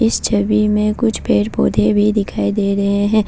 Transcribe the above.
इस छवि में कुछ पेड़ पौधे भी दिखाई दे रहे हैं।